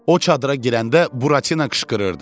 O çadıra girəndə Buratino qışqırırdı.